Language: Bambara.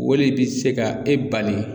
Wale bɛ se ka e bali.